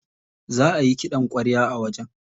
Za ayi ƙidan ƙwarya a wajen.